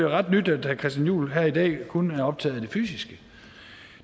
ret nyt at herre christian juhl her i dag kun er optaget af det fysiske